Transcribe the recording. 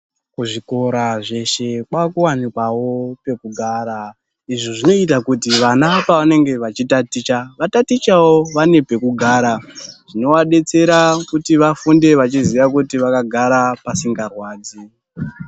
Kuzvikora zveeshe kwakuonekawo pekugara izvi zvinoita kuti vana pavanenge vachitaticha vatatichewo vane pekugara zvinovadetsera kuti vafunde vachiziya kuti vakagara pasingarwadzi.